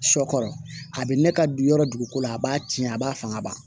Sɔ kɔrɔ a bɛ ne ka yɔrɔ dugu ko la a b'a tiɲɛ a b'a fanga ban